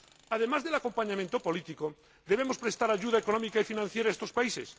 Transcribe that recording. Además del acompañamiento político, debemos prestar ayuda económica y financiera a estos países.